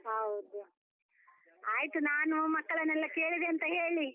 ಹೌದು, ಆಯ್ತು ನಾನು ಮಕ್ಕಳನೆಲ್ಲ ಕೇಳಿದೆ ಅಂತ ಹೇಳಿ.